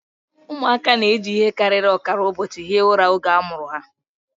Ụmụaka na-eji ihe karịrị ọkara ụbọchị hie ụra oge a mụrụ ha